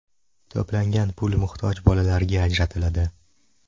To‘plangan pul muhtoj bolalarga ajratiladi.